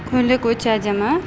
көйлек өте әдемі